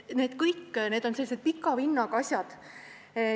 Need kõik on sellised pika vinnaga asjad.